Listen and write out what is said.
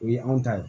O ye anw ta ye